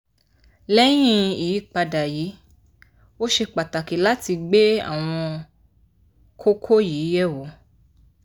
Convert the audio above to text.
lẹ́yìn ìyípadà yìí ó ṣe pàtàkì láti gbé àwọn kókó yìí yẹ̀wò